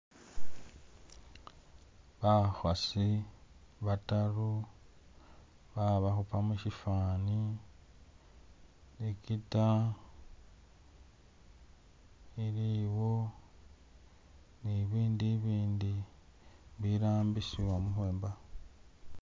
Bakhasi bataru babakhupa mushifaani ne igita iliwo ne ibindu ibindi birambisiwa mukhwenba